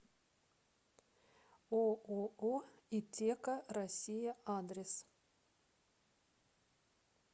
ооо итеко россия адрес